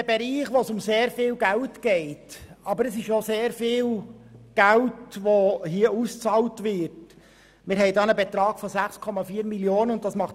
Es geht um einen Betrag in der Höhe von 6,4 Mio. Franken, was 1,7 Prozent ausmacht.